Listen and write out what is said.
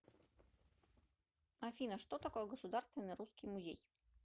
афина что такое государственный русский музей